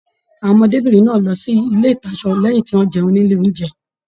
Àwọn ọmọdébinrin náà lọ sí ilé ìtasọ̀ lẹyìn tí wọn jẹun nílé ounjẹ.